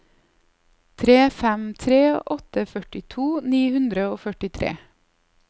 tre fem tre åtte førtito ni hundre og førtitre